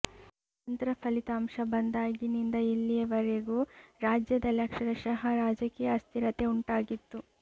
ಅತಂತ್ರ ಫಲಿತಾಂಶ ಬಂದಾಗಿನಿಂದ ಇಲ್ಲಿವರೆಗೂ ರಾಜ್ಯದಲ್ಲಿ ಅಕ್ಷರಶಃ ರಾಜಕೀಯ ಅಸ್ಥಿರತೆ ಉಂಟಾಗಿತ್ತು